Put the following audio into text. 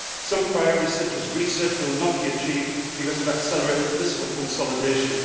Some priorities, such as research, will not be achieved because of accelerated fiscal consolidation.